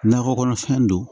Nakɔ kɔnɔfɛn don